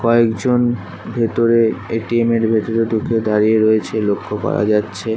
কয়েকজন ভেতরে এ.টি.এম. এর ভেতরে ঢুকে দাঁড়িয়ে রয়েছে লক্ষ্য করা যাচ্ছে ।